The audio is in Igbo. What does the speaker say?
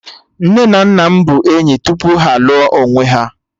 Nne na nna m bụ enyi tupu ha a lụọ onwe ha